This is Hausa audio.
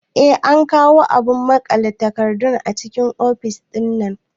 Eh an kawo abun maƙale takardu a cikin ofis ɗinnan